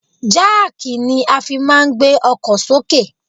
Jáàkì ni a fi máa ń gbé ọkọ̀ sókè